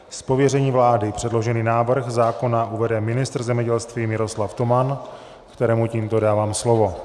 Z pověření vlády předložený návrh zákona uvede ministr zemědělství Miroslav Toman, kterému tímto dávám slovo.